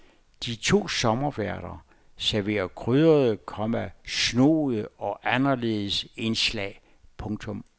De to sommerværter serverer krydrede, komma snoede og anderledes indslag. punktum